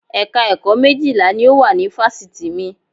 Ẹ̀ka ẹ̀kọ́ méjìlá ni ó wà ní Fáṣítì mi